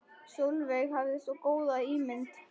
Sólveig hafði svo góða ímynd.